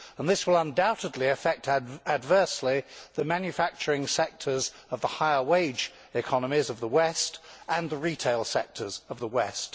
This will undoubtedly affect adversely the manufacturing sectors of the higher wage economies of the West and the retail sectors of the West.